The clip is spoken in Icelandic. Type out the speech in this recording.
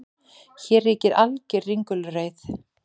Hér ríkir alger ringulreið